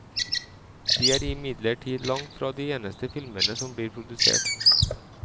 De er imidlertid langt fra de eneste filmene som blir produsert.